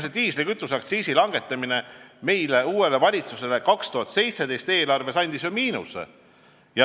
Diislikütuseaktsiisi langetamine tekitas uuele valitsusele 2018. aasta eelarves ju miinuse.